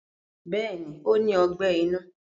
Bẹ́ẹ̀ni ó ní Ọgbẹ́ inú